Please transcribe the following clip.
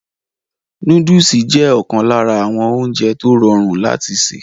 Nóódùsì jẹ́ ọ̀kan lára àwọn oúnjẹ tó rọrùn láti sè